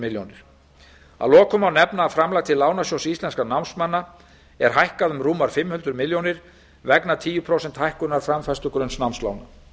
króna að lokum má nefna að framlag til lánasjóðs íslenskra námsmanna er hækkað um rúmar fimm hundruð milljóna króna vegna tíu prósenta hækkunar framfærslugrunns námslána